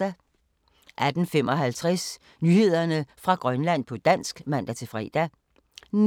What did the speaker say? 18:55: Nyheder fra Grønland på dansk (man-fre) 19:03: